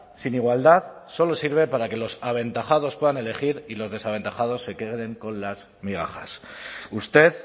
sin igualdad solo sirve para que los aventajados puedan elegir y los desaventajados se queden con las migajas usted